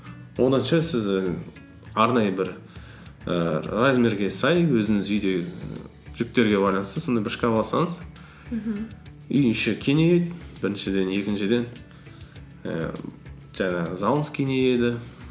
оданша сіз і арнайы бір ііі размерге сай өзіңіз үйдегі і жүктерге байланысты сондай бір шкаф алсаңыз мхм үй іші кеңейеді біріншіден екіншіден ііі жаңағы залыңыз кеңейеді